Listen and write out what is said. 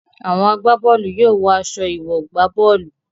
Àwọn agbá bọ́ọ̀lù yóò wọ aṣọ ìwọ̀-gbá-bọ́ọ̀lù.